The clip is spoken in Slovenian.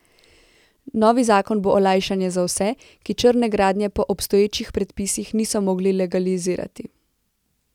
Novi zakon bo olajšanje za vse, ki črne gradnje po obstoječih predpisih niso mogli legalizirati.